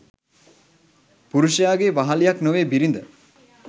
පුරුෂයාගේ වහළියක් නොවේ බිරිඳ